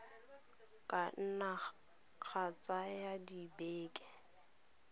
ka nna ga tsaya dibeke